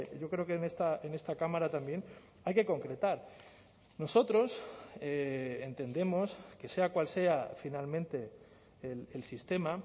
yo creo que en esta cámara también hay que concretar nosotros entendemos que sea cual sea finalmente el sistema